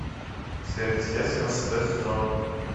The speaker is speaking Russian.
сверхъестественное шестой сезон